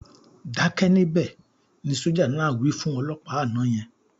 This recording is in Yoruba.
"Dákẹ́ níbẹ̀", ni sójà náà wí fún olọ́pàá àná yẹn